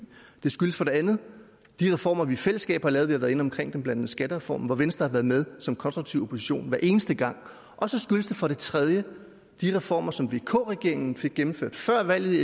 det skyldes for det andet de reformer vi i fællesskab har lavet vi har været inde omkring dem blandt andet skattereformen hvor venstre har været med som konstruktiv opposition hver eneste gang og så skyldes det for det tredje de reformer som vk regeringen fik gennemført før valget i